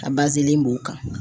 A bazin b'u kan.